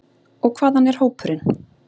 Og hvaðan er hópurinn?